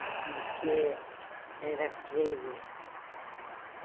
O bife era Freire.